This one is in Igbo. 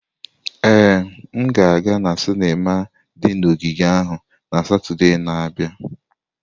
Ee, m ga-aga na sinima di na ogige ahụ na Satọde na-abịa.